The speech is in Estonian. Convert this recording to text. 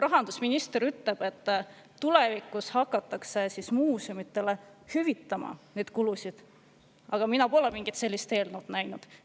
Rahandusminister ütleb, et tulevikus hakatakse muuseumidele kulusid hüvitama, aga mina pole mingit sellist eelnõu näinud.